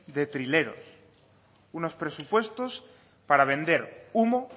de trileros unos presupuestos para vender humo